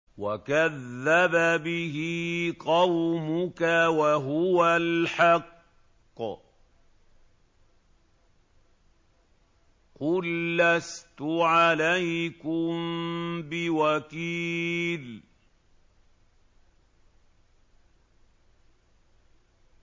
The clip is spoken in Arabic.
وَكَذَّبَ بِهِ قَوْمُكَ وَهُوَ الْحَقُّ ۚ قُل لَّسْتُ عَلَيْكُم بِوَكِيلٍ